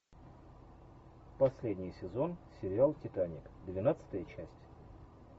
последний сезон сериал титаник двенадцатая часть